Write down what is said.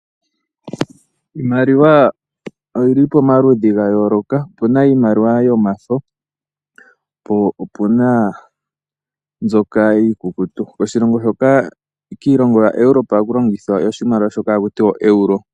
Iimaliwa oyili pomaludhi gayooloka opuna iimaliwa yomafo po opuna nzoka iikukutu, oshilongo shoka kiilongo yaEuropa ohaku longithwa iimaliwa shooka hakutiwa oeuro.